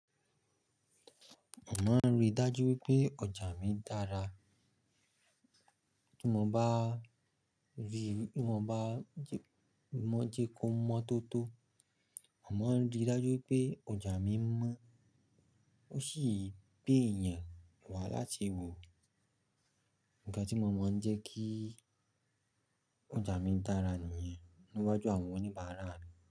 Mo maa rí dájú wípé ọjà mi dára. Tí mo bá rí, tí mo bá jẹ́ kó mọ́ tó tó. Mo maaa rí i dájú wipé ọjà mi mọ́. Ó sì gbé eeyan wá láti wò. Ǹnkan tí mo máa ń jẹ́ kí ọjà mi dára nìyẹn. Niwaju àwọn oníbàárà mi.